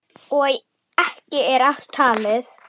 Og ekki er allt talið.